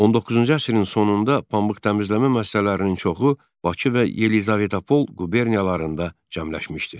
19-cu əsrin sonunda pambıq təmizləmə müəssisələrinin çoxu Bakı və Yelizavetpol quberniyalarında cəmləşmişdi.